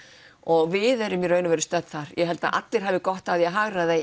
og við erum í raun og veru stödd þar ég held að allir hefðu gott af því að hagræða í